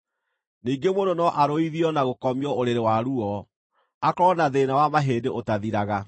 Ningĩ mũndũ no arũithio na gũkomio ũrĩrĩ wa ruo, akorwo na thĩĩna wa mahĩndĩ ũtathiraga,